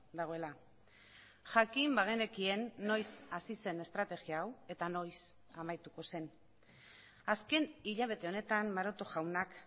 dagoela jakin bagenekien noiz hasi zen estrategia hau eta noiz amaituko zen azken hilabete honetan maroto jaunak